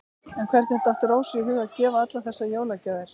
En hvernig datt Rósu í hug að gefa allar þessar jólagjafir?